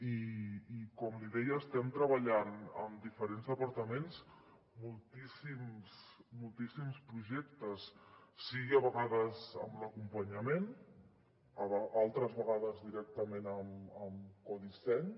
i com li deia estem treballant amb diferents departaments moltíssims projectes sigui a vegades amb l’acompanyament altres vegades directament amb codisseny